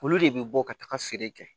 Olu de bɛ bɔ ka taga feere kɛ